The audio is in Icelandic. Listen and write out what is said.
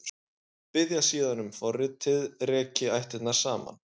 Biðja síðan um að forritið reki ættirnar saman.